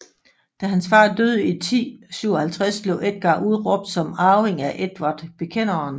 Da hans far døde i 1057 blev Edgar udråbt som arving af Edvard Bekenderen